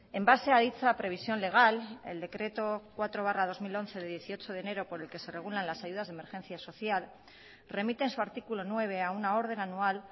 en base a dicha previsión legal el decreto cuatro barra dos mil once de dieciocho de enero por el que se regulan las ayudas de emergencia social remite en su artículo nueve a una orden anual